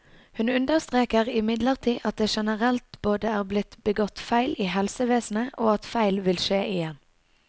Hun understreker imidlertid at det generelt både er blitt begått feil i helsevesenet, og at feil vil skje igjen.